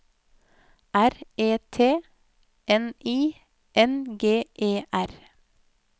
R E T N I N G E R